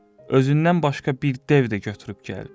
Özündən başqa bir dev də götürüb gəlib.